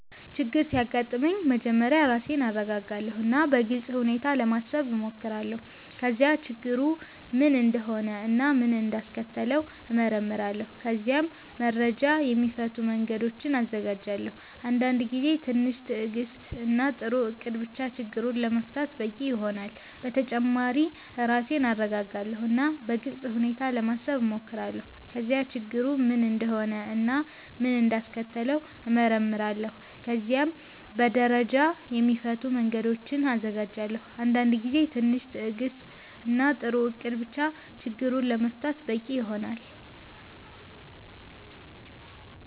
ችግር ሲያጋጥመኝ መጀመሪያ ራሴን እረጋጋለሁ እና በግልጽ ሁኔታ ለማሰብ እሞክራለሁ። ከዚያ ችግሩ ምን እንደሆነ እና ምን እንዳስከተለው እመረምራለሁ። ከዚያም በደረጃ የሚፈቱ መንገዶችን እዘጋጃለሁ። አንዳንድ ጊዜ ትንሽ ትዕግስት እና ጥሩ እቅድ ብቻ ችግሩን ለመፍታት በቂ ይሆናል። በተጨማሪ ራሴን እረጋጋለሁ እና በግልጽ ሁኔታ ለማሰብ እሞክራለሁ። ከዚያ ችግሩ ምን እንደሆነ እና ምን እንዳስከተለው እመረምራለሁ። ከዚያም በደረጃ የሚፈቱ መንገዶችን እዘጋጃለሁ። አንዳንድ ጊዜ ትንሽ ትዕግስት እና ጥሩ እቅድ ብቻ ችግሩን ለመፍታት በቂ ይሆናል።